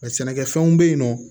sɛnɛkɛfɛnw bɛ yen nɔ